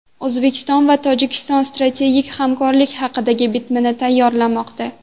O‘zbekiston va Tojikiston strategik hamkorlik haqidagi bitimni tayyorlamoqda.